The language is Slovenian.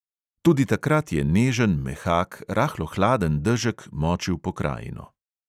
Tudi takrat je nežen, mehak, rahlo hladen dežek močil pokrajino.